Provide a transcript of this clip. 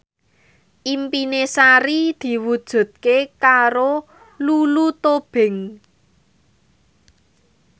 impine Sari diwujudke karo Lulu Tobing